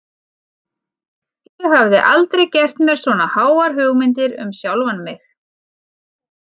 Ég hafði aldrei gert mér svona háar hugmyndir um sjálfan mig.